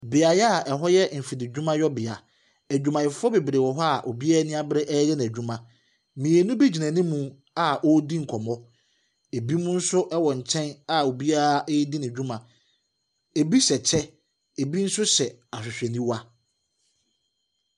Beaeɛ a ɛwɔ yɛ mfididwumayɔ bea, nkorɔfoɔ bebree wɔ hɔ obiara ani abere ɛreyɛ n’adwuma mmienu bi gyina anim a wɔredi nkɔmmɔ. ɛbinom nso ɛwɔ nkyɛn a obiara ɔredi ne dwuma . Ɛbi hyɛ kyɛ, ɛbi nso hyɛ ahwehwɛniwa.